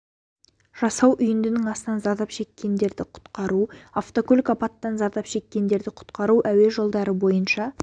жасау үйіндінің астынан зардап шеккенді құтқару автокөлік апаттан кейін зардап шеккенді құтқару әуе жолдары бойынша